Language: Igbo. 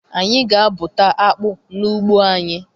Anyị ga-abụta akpụ n'ugbo anyị.